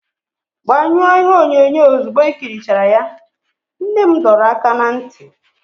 Gbanyụọ ihe onyonyo ozugbo i ikirichara ya, nne m dọrọ aka ná ntị.